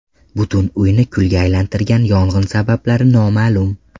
Butun uyni kulga aylantirgan yong‘in sabablari noma’lum.